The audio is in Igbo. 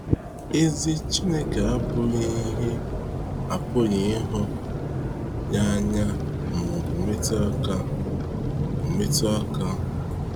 Ezi Chineke abụghị ihe, apụghị ịhụ ya anya ma ọ bụ metụ aka. bụ metụ aka.